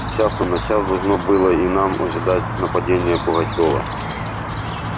с часу на час должно было и нам ожидать нападения пугачёва